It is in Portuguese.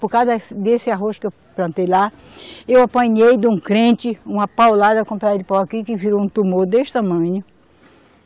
Por causa desse, desse arroz que eu plantei lá, eu apanhei de um crente, uma paulada com um pedaço de pau aqui, que virou um tumor desse tamanho.